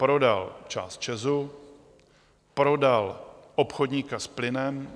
Prodal část ČEZu, prodal obchodníka s plynem.